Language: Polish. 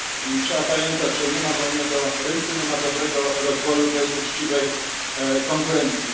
I tu trzeba pamiętać, że nie ma wolnego rynku, nie ma dobrego rozwoju bez uczciwej konkurencji.